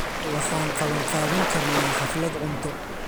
Waxaan qabanqaabin karnaa xaflad cunto.